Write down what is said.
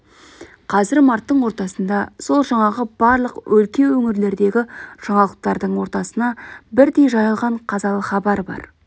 қазір марттың ортасында сол жаңағы барлық өлке өңірлердегі жаңалықтардың ортасына бірдей жайылған қазалы хабар бар